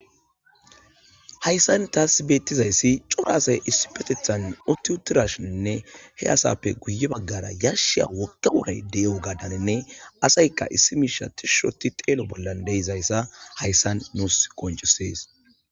hayssan taasibeettizayssi cora asay issi petethan oti uturashiinne he asappe guye baggara yarsha wokka wuray de7yo gadaninne asayka issi miisha tishshoti xeelo bollan deizayssa hayssan nuus qoncusees